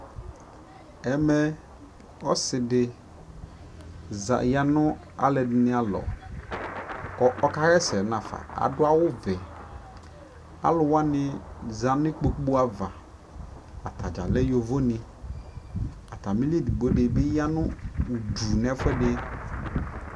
ɛmɛ ɔsiidi yanʋ alʋɛdini alɔ kʋ ɔka yɛsɛ nʋ aƒa, adʋ awʋ vɛ, alʋ wani zanʋ ikpɔkʋ aɣa, atagya lɛ yɔvɔ ni, atamili ɛdigbɔ dibi yanʋ ʋdʋ nʋ ɛƒʋɛdi